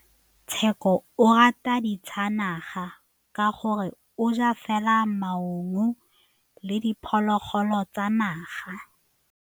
Tshekô o rata ditsanaga ka gore o ja fela maungo le diphologolo tsa naga.